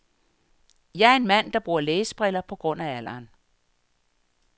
Jeg er en mand, der bruger læsebriller på grund af alderen.